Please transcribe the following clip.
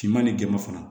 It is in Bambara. Finman ni gerenman fana